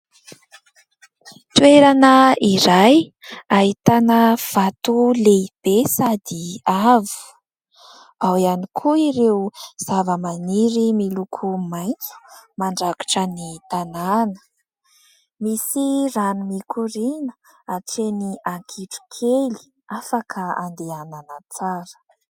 Toerana iray ahitàna vato lehibe sady avo. Ao ihany koa ireo zava-maniry miloko maitso mandrakotra ny tanàna. Misy rano mikorina hatreny ankitrokely, afaka andehanana tsara.